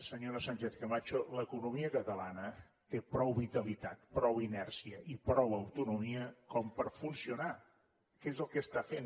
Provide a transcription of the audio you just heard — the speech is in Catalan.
senyora sánchez camacho l’economia catalana té prou vitalitat prou inèrcia i prou autonomia per funcionar que és el que està fent